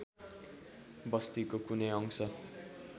बस्तीको कुनै अंश